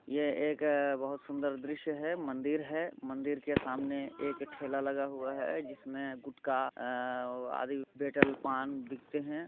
यह एक बहुत सुन्दर दृश्य है मंदिर है मंदिर के सामने एक ठेला लगा हुवा है जिसमें गुटका अ और आधी बेटल पान बिकते हैं।